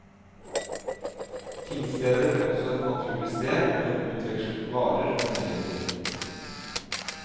Tingstedet ble også et naturlig sted hvor en utvekslet varer og nyheter.